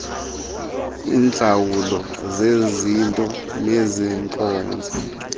iintlawulo zezinto neenkonzo